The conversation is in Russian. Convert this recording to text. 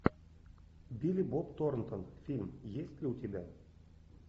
билли боб торнтон фильм есть ли у тебя